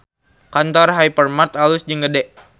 Kantor Hypermart alus jeung gede